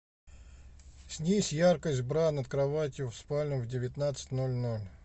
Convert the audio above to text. снизь яркость бра над кроватью в спальне в девятнадцать ноль ноль